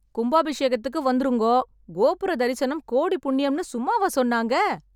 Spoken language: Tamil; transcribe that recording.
கும்பாபிஷேகத்துக்கு வந்துருங்கோ, கோபுர தரிசனம் கோடி புண்ணியம்ன்னு சும்மாவா சொன்னாங்க.